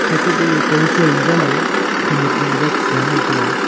thekape gag koi sui majouye khayak jiji jou jichga ngan taga.